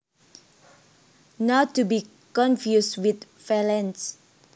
Not to be confused with valance